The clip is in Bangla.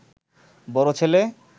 বড় ছেলে